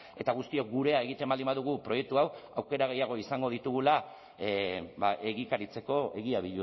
eta guztiok gurea egiten baldin badugu proiektu hau aukera gehiago izango ditugula egikaritzeko egia